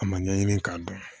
A ma ɲɛɲini k'a dɔn